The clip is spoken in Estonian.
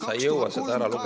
Sa ei jõua seda ära lugeda.